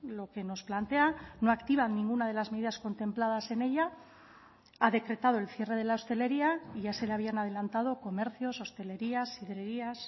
lo que nos plantea no activa ninguna de las medidas contempladas en ella ha decretado el cierre de la hostelería y ya se le habían adelantado comercios hostelerías sidrerías